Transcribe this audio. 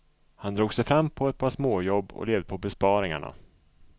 Han drog sig fram på ett par småjobb och levde på besparingarna.